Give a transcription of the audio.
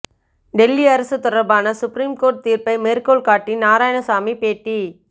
டெல்லி அரசு தொடர்பான supreme court தீர்ப்பை மேற்கோள்காட்டி நாராயணசாமி பேட்டி